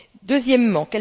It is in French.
Deuxièmement.